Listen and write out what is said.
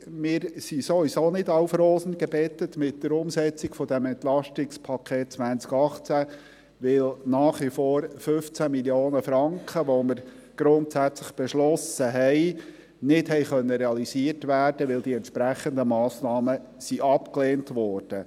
Wir sind sowieso nicht auf Rosen gebettet bei der Umsetzung des EP 2018, weil nach wie vor 15 Mio. Franken, die wir grundsätzlich beschlossen haben, nicht realisiert werden konnten, da die entsprechenden Massnahmen abgelehnt wurden.